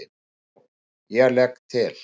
JÓN: Ég legg til.